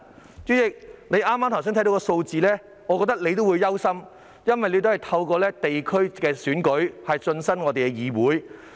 代理主席，你聽到剛才的數字也會感到憂慮，因為你也是透過地區選舉進入議會。